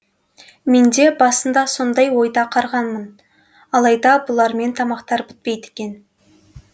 менде басында сондай ойда қарғанмын алайда бұлармен тамақтар бітпейді екен